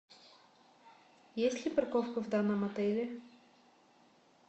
есть ли парковка в данном отеле